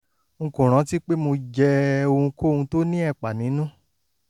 n kò rántí pé mo jẹ ohunkóhun tó ní ẹ̀pà nínú